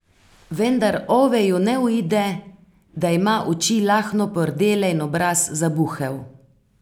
Vendar Oveju ne uide, da ima oči lahno pordele in obraz zabuhel.